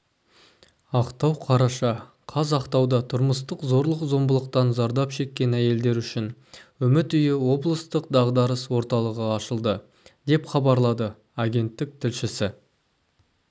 ақтау қараша қаз ақтауда тұрмыстық зорлық-зомбылықтан зардап шеккен әйелдер үшін үміт үйі облыстық дағдарыс орталығы ашылды деп хабарлады агенттік тілшісі